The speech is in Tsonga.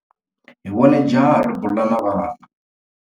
Hi vone jaha ri bula na vana.